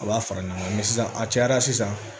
A b'a fara ɲɔgɔn kan sisan a cayara sisan